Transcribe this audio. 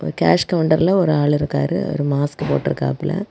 Cash கவுண்டர்ல ஒரு ஆள் இருக்காரு அவர் மாஸ்க் போட்டு இருக்காப்ல.